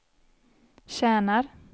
tjänar